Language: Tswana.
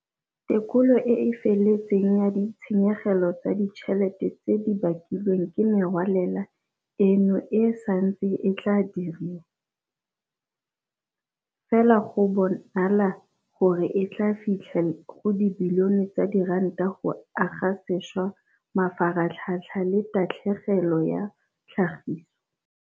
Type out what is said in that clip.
"Tekolo e e feletseng ya ditshenyegelo tsa ditšhelete tse di bakilweng ke merwalela eno e santse e tla dirwa, fela go a bonala gore e tla fitlha go dibilione tsa diranta go aga sešwa mafaratlhatlha le tatlhegelo ya tlhagiso."